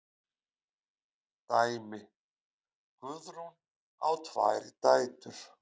Dæmi: Guðrún á tvær dætur.